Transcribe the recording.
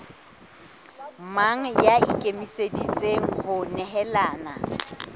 mang ya ikemiseditseng ho nehelana